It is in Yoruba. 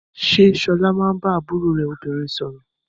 Ṣé Ṣọlá máa ń bá àbúrò rẹ̀ obìnrin sọ̀rọ̀?